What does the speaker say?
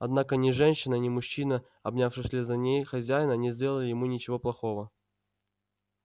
однако ни женщина ни мужчина обнявший вслед за ней хозяина не сделали ему ничего плохого